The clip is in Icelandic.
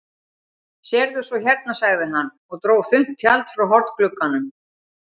Sérðu svo hérna, sagði hann og dró þunnt tjald frá hornglugganum.